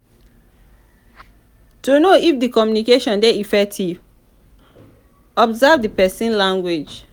to know if di communication di effective observe di persin body language